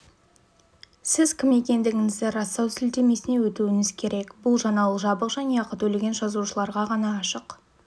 сіз кім екендігіңізді растау сілтемесіне өтуіңіз керек бұл жаңалық жабық және ақы төлеген жазылушыларға ғана ашық